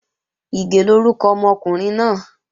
Ìgè lórúkọ ọmọkùnrin náà